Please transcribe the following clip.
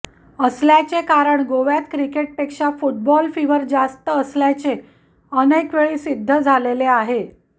असल्याचे कारण गोव्यात क्रिकेटपेक्षा फुटबॉल फिवर जास्त असल्याचे अनेकवेळी सिद्ध झालेले आहे